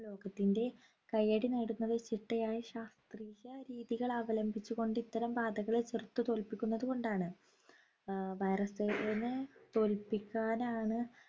ലോകത്തിൻ്റെ കൈയ്യടി നേടുന്നത് ചിട്ടയായ ശാസ്ത്രീയരീതികൾ അവംലംബിച്ചു കൊണ്ട്‌ ഇത്തരം ബാധകളെ ചെറുത്ത് തോൽപിക്കുന്നത്കൊണ്ടാണ് ആഹ് virus നെ തോൽപ്പിക്കാനാണ്